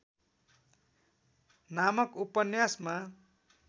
नामक ‍उपन्यासमा